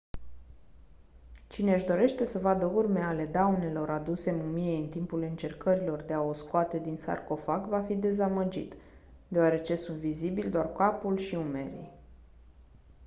cine-și dorește să vadă urme ale daunelor aduse mumiei în timpul încercărilor de a o scoate din sarcofag va fi dezamăgit deoarece sunt vizibili doar capul și umerii